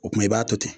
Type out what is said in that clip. O kumana i b'a to ten